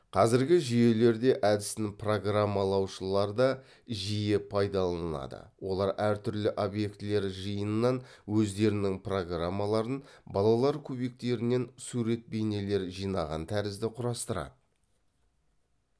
қазіргі жүйелерде әдісін программалаушылар да жиі пайдаланылады олар әртүрлі обьектілер жиынынан өздерінің программаларын балалар кубиктерінен сурет бейнелер жинаған тәрізді құрастырады